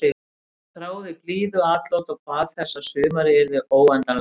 Þráði blíðuatlot og bað þess að sumarið yrði óendanlegt.